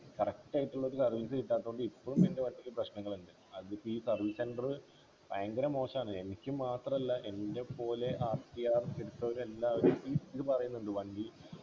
correct ആയിട്ടുള്ള service കിട്ടാതകൊണ്ട് ഇപ്പോളും എൻ്റെ വണ്ടിക്ക് പ്രശ്നങ്ങളുണ്ട് അതിപ്പോ ഈ service center ഭയങ്കര മോശാണ് എനിക്ക് മാത്രല്ല എൻ്റെ പോലെ rtr എടുത്തവരെല്ലാരും ഈ ഇത് പറയുന്നുണ്ട് വണ്ടി